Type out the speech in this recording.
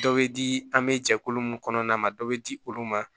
Dɔ bɛ di an bɛ jɛkulu mun kɔnɔna na dɔ bɛ di olu ma